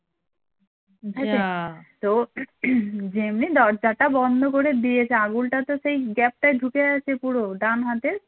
তো হম যেমনি দরজাটা বন্ধ করে দিয়েছে আঙুলটা তো সেই gap টায় ঢুকে আছে পুরো ডান হাতের